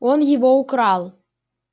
он его украл